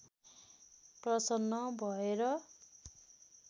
प्रसन्न भएर